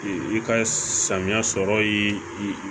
I ka samiya sɔrɔ ye i